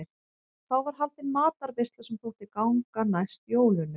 Þá var haldin matarveisla sem þótti ganga næst jólunum.